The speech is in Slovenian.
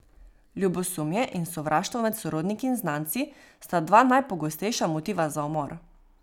Ljubosumje in sovraštvo med sorodniki in znanci sta dva najpogostejša motiva za umor.